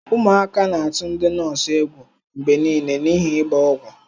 Ụmụaka na-atụ ndi nọọsụ egwu mgbe niile n'ihi ịgba ọgwụ.